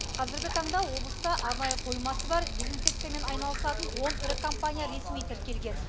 қазіргі таңда облыста арнайы қоймасы бар дезинсекциямен айналысатын он ірі компания ресми тіркелген